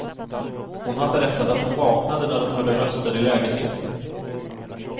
Hon har berättat att hon vaknade när hon hörde röster i lägenheten.